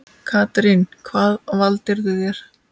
Katrín: Hvað valdirðu þér?